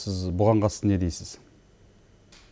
сіз бұған қатысты не дейсіз